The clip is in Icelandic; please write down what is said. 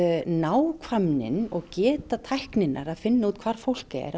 nákvæmnin og geta tækninnar til að finna út hvar fólk er